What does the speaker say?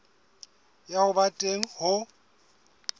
ya ho ba teng ho